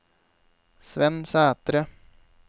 Svenn Sætre